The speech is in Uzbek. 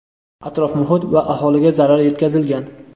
atrof-muhit va aholiga zarar yetkazilgan.